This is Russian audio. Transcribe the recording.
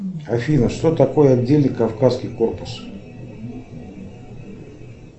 афина что такое отдельный кавказский корпус